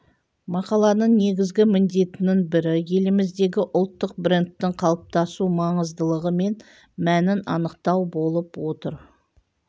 мақаланың негізгі міндетінің бірі еліміздегі ұлттық брендтің қалыптасу маңыздылығы мен мәнін анықтау болып отыр